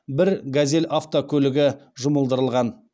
бір газель автокөлігі жұмылдырылған